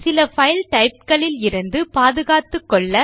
சில file types இலிருந்து பாதுகாத்துக்கொள்ள